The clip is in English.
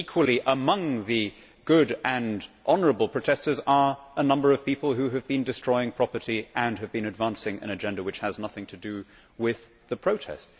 Equally, among the good and honourable protestors are a number of people who have been destroying property and have been advancing an agenda which has nothing to do with the protest.